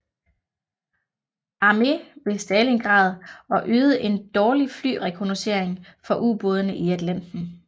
Armé ved Stalingrad og ydede en dårlig flyrekognoscering for ubådene i Atlanten